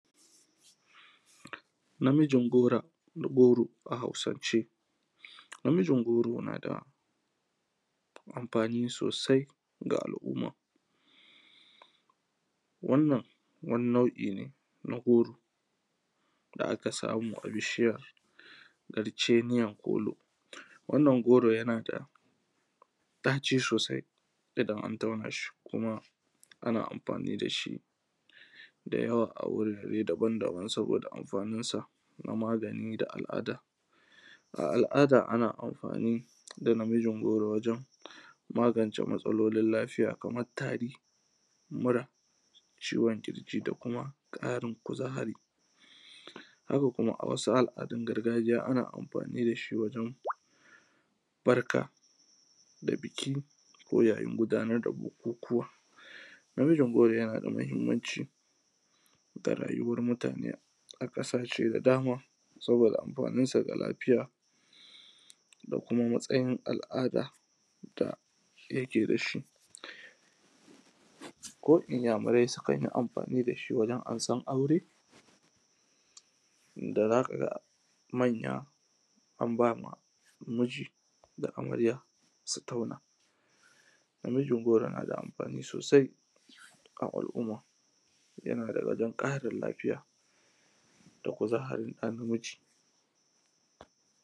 namijin goro a hausance namijin goro na da amfani sosai ga al'umma wannan wani nau'i ne na goro da aka samu a bishiyan karceniyan kolo wannan goro yana da ɗaci sosai idan an tauna shi kuma ana amfani da shi da yawa a gurare daban daban saboda amfanin sa na magani da al’ada a al’ada ana amfani da namijin goro wajan magance matsalolin lafiya kamar tari mura ciwon ƙirji da kuma ƙarin kuzari haka kuma a wasu al’adun gargajiya ana amfani da shi wajen barka da biki ko yayin gudanar da bukukuwa namijin goro yana da mahimmanci ga rayuwar mutane a ƙasashe da dama saboda amfanin sa ga lafiya da kuma matsayin al’ada da yake da shi ko inyamurai sukan yi amfani da shi wajan amsan aure da za ka ga manya an ba ma miji da amarya su tauna namijin goro na da amfani sosai a al’umma sannan kuma yana wajan ƙarin lafiya da kuzarin ɗa namiji